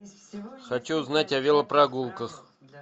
хочу узнать о велопрогулках